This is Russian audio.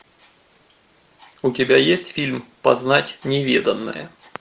у тебя есть фильм познать неведанное